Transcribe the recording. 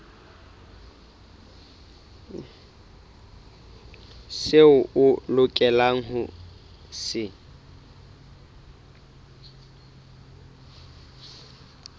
seo a lokelang ho se